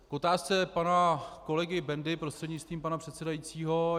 K otázce pana kolegy Bendy, prostřednictvím pana předsedajícího.